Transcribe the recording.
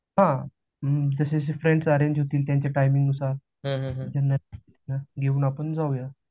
हा, जशजशी friends arrange होतील त्याच्या टाइमिंग नुसार येऊन आपण जाऊयात